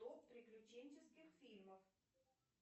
топ приключенческих фильмов